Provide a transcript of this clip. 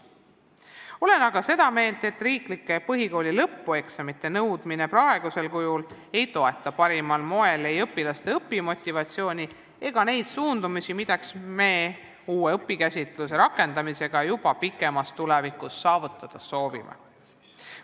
Olen aga seda meelt, et riiklike põhikooli lõpueksamite nõudmine praegusel kujul ei toeta parimal moel ei õpilaste õpimotivatsiooni ega neid sihte, mida me uue õpikäsitluse rakendamisega juba kaugemas tulevikus saavutada soovime.